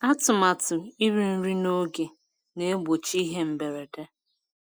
Atụmatụ iri nri n'oge na-egbochi ihe mberede.